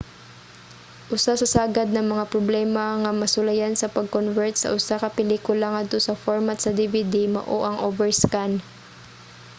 usa sa sagad nga mga problema nga masulayan sa pag-convert sa usa ka pelikula ngadto sa format sa dvd mao ang overscan